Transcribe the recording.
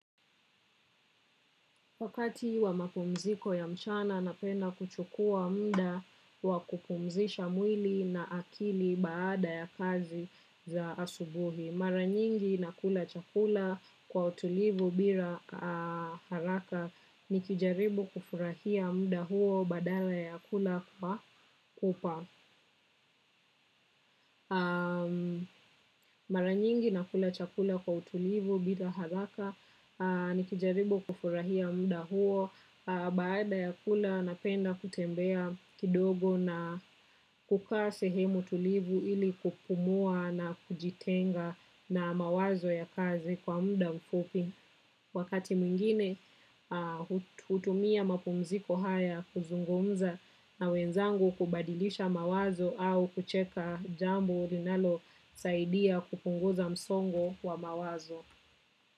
Wakati wa mapumziko ya mchana napenda kuchukua muda wa kupumzisha mwili na akili baada ya kazi za asubuhi. Mara nyingi nakula chakula kwa utulivu bila haraka nikijaribu kufurahia muda huo badala ya kula kwa pupa. Mara nyingi nakula chakula kwa utulivu bila haraka nikijaribu kufurahia muda huo. Baada ya kula napenda kutembea kidogo na kukaa sehemu tulivu ili kupumua na kujitenga na mawazo ya kazi kwa muda mfupi. Wakati mwingine hutumia mapumziko haya kuzungumza na wenzangu kubadilisha mawazo au kucheka jambo linalosaidia kupunguza msongo wa mawazo.